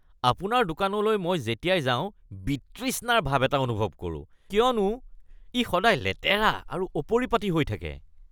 আপোনাৰ দোকানলৈ মই যেতিয়াই যাওঁ বিতৃষ্ণাৰ ভাব এটা অনুভৱ কৰোঁ কিয়নো ই সদায় লেতেৰা আৰু অপৰিপাটি হৈ থাকে।